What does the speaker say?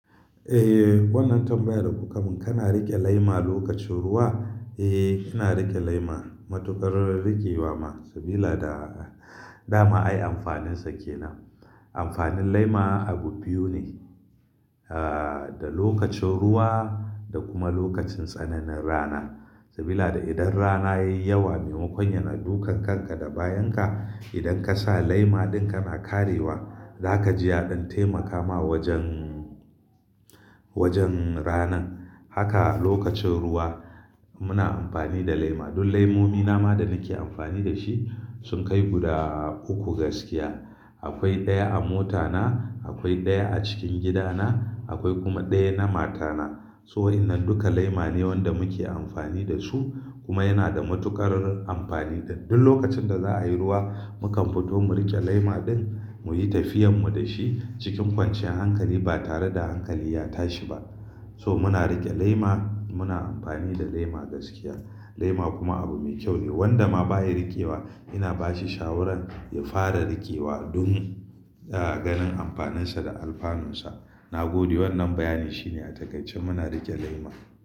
Eh, wannan tambayar da kuka mun. Kana riƙe lema lokacin ruwa? Eh, ina riƙe lema. Matuƙar r-riƙewa ma sabila da dama ai amfaninsa ke nan. Amfanin lema abu biyu ne, ah, da lokacin ruwa da kuma lokacin tsananin rana. Sabila da idan rana yayi yawa maimakon yana dukan kanka da bayan ka, idan ka sa lema ɗin kana karewa, zaka ji yaɗin taimaka ma wajen, wajen rana. Haka lokacin ruwa muna amfani da lema. Dun lemomi nama da nake amfani da shi sun kai guda uku gaskiya. Akwai ɗaya a mota na, akwai ɗaya a cikin gida na, akwai kuma ɗaya na mata na. So waɗannan duka lema ne wanda muke amfani da su kuma yana da matuƙar amfani. Dun lokacin da za'a yi ruwa, mukan fito mu riƙe lema ɗin, muyi tafiyan mu da shi cikin kwanciyar hankali ba tare da hankali ya tashi ba. So muna riƙe lema, muna amfani da lema gaskiya. Lema kuma abu mai kyau ne. Wanda ma baya riƙewa ina bashi shawaran ya fara riƙewa dun, ah, ganin amfaninsa da alfanunsa. Na gode wannan bayani shine a cikacin muna riƙe lema.